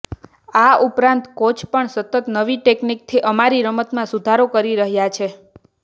આ ઉપરાંત કોચ પણ સતત નવી ટેક્નિકથી અમારી રમતમાં સુધારો કરી રહ્યા છે